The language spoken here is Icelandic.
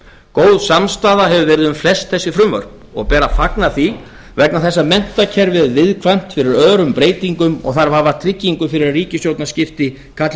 góð samstaða hefur verið um flest þessi frumvörp og ber að fagna því vegna þess að menntakerfið er viðkvæmt fyrir örum breytingum og þarf að hafa tryggingu fyrir að ríkisstjórnarskipti kalli